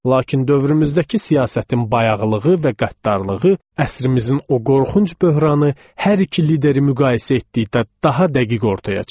Lakin dövrümüzdəki siyasətin bayağılığı və qəddarlığı əsrimizin o qorxunc böhranı hər iki lideri müqayisə etdikdə daha dəqiq ortaya çıxır.